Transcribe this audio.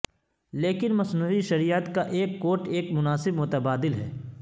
لیکن مصنوعی شریعت کا ایک کوٹ ایک مناسب متبادل ہے